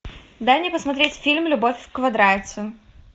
дай мне посмотреть фильм любовь в квадрате